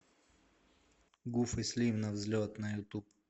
гуф и слим на взлет на ютуб